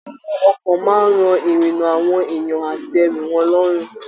Àwọn ọkọ máa n rọ irinna àwọn èèyàn àti ẹrù wọn lọrùn.